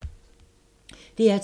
DR2